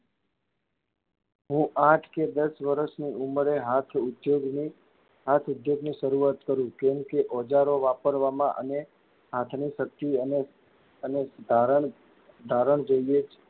હું આઠ કે દસ વર્ષની ઉમરે હાથ ઉછેરીને હાથ અદ્ધરની શરૂઆત કરું કેમ કે, ઓજારો વાપરવામાં અને હાથની શક્તિ અને અને ધારણ, ધારણ જોઇયે જ.